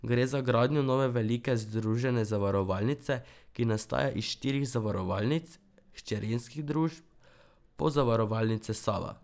Gre za gradnjo nove velike združene zavarovalnice, ki nastaja iz štirih zavarovalnic, hčerinskih družb Pozavarovalnice Sava.